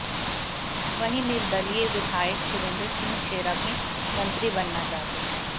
वहीं निर्दलीय विधायक सुरेंद्र सिंह शेरा भी मंत्री बनना चाहते हैं